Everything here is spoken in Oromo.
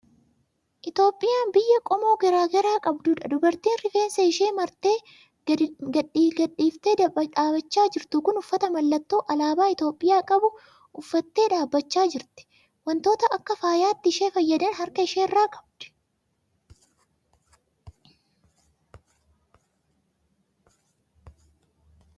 Itoophiyaan biyya qomoo garaa garaa qabdudha. Dubartiin rifeensa ishii martee gadi gadhiiftee dhaabachaa jirtu kun uffata mallattoo alaabaa Itoophiyaa qabu uffattee dhaabachaa jirti. Waantota akka faayaatti ishee fayyadan harka ishee irraa qabdi.